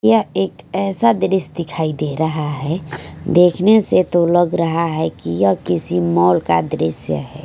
यह एक ऐसा दृश्य दिखाई दे रहा है देखने से तो लग रहा है कि यह किसी मॉल का दृश्य है।